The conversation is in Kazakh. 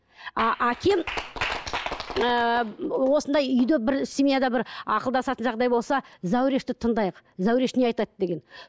ааа әкем ііі осындай үйде бір семьяда бір ақылдасатын жағдай болса зәурешті тыңдайық зәуреш не айтады деген